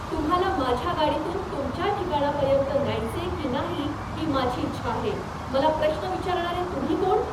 तुम्हाला माझ्या गाडीतून तुमच्या ठिकाणापर्यंत न्यायचे की नाही, ही माझी इच्छा आहे. मला प्रश्न विचारणारे तुम्ही कोण?